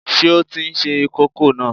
Ṣé o tí n se kókò náà?